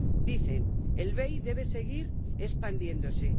Dicen El BEI debe seguir expandiéndose.